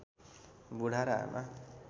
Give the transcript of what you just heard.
बुढा र आमा